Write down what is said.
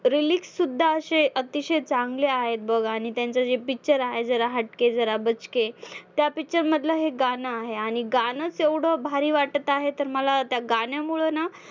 lyrics सुद्धा असे अतिशय चांगले आहेत बघ आणि त्यांचं जे picture आहे जरा हटके जरा बचके, त्या picture मधलं हे गाणं आहे आणि गाणंच एवढं भारी वाटत आहे तर मला त्या गाण्यामुळं ना